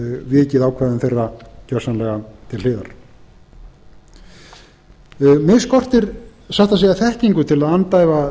geti vikið ákvæðum þeirra gjörsamlega til hliðar mig skortir satt að segja þekkingu til að andæfa